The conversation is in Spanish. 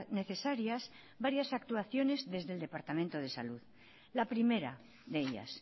necesarias varias actuaciones desde el departamento de salud la primera de ellas